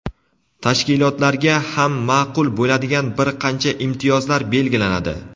tashkilotlarga ham ma’qul bo‘ladigan bir qancha imtiyozlar belgilanadi.